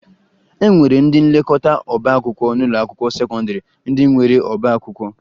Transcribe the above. E nwere ndị nlekọta ọbaakwụkwọ n'ụlọakwụkwọ sekọndịrị ndị nwere ọbaakwụkwọ